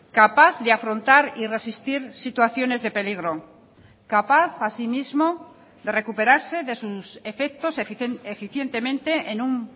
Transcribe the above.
capaz de afrontar y resistir situaciones de peligro capaz asimismo de recuperarse de sus efectos eficientemente en un